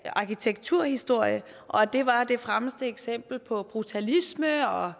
arkitekturhistorie og at det var det fremmeste eksempel på brutalisme og